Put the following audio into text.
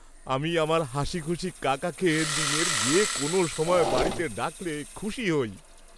আমি আমার হাসিখুশি কাকাকে দিনের যে কোনও সময় বাড়িতে ডাকলে খুশি হই।